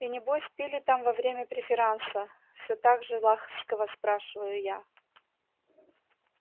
и небось пили там во время преферанса все так же ласково спрашиваю я